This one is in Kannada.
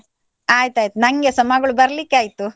ಅಯ್ತಾಯ್ತು ನನ್ಗೆಸ ಮಗಳು ಬರ್ಲಿಕ್ಕೆ ಆಯ್ತು.